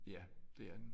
Ja det er den